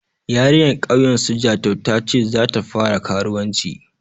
Yarinyar ƙauyen su Jatau ta ce za ta fara karuwanci.